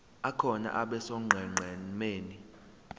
akhona abe sonqenqemeni